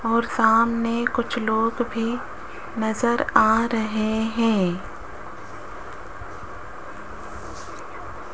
और सामने कुछ लोग भी नज़र आ रहे है।